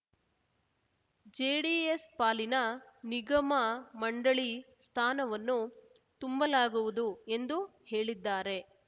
JDS ಪಾಲಿನ ನಿಗಮಮಂಡಳಿ ಸ್ಥಾನವನ್ನು ತುಂಬಲಾಗುವುದು ಎಂದು ಹೇಳಿದ್ದಾರೆ